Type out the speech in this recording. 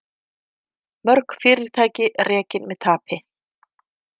Mörg fyrirtæki rekin með tapi